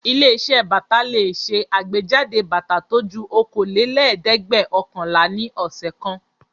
Ilé-iṣẹ́ bàtà le ṣe àgbéjáde bàtà tó ju okòólélẹ́ẹ̀dẹ́gbẹ́ọ̀kànlá ní ọ̀sẹ̀ kan.